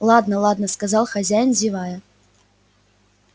ладно ладно сказал хозяин зевая